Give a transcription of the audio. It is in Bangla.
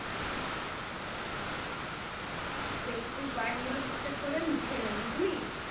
বেশ তুই point গুলো ঠিক ঠাক করে লিখে নে বুঝলি